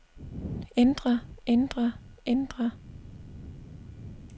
ændre ændre ændre